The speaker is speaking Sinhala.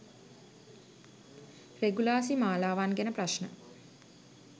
රෙගුලාසි මාලාවන් ගැන ප්‍රශ්න